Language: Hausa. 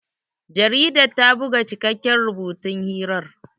Jaridar ta buga cikakken rubutun hirar.